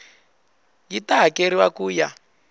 yi ta hakeriwa ku ya